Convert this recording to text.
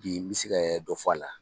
Bi n bɛ se ka dɔ fɔ a la.